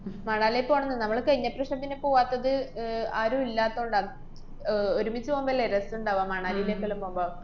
മണാലീല് പോണ് നമ്മള് കയിഞ്ഞപ്രാശ്യം തന്നെ പൂവാത്തത് അഹ് ആരും ഇല്ലാത്തകൊണ്ടാ. ആഹ് ഒരുമിച്ച് പോവുമ്പല്ലേ രസണ്ടാവ? മണാലീലേക്കെല്ലാം പോവുമ്പ?